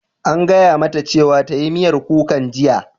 An gaya mata cewa ta yi miyar kukan jiya!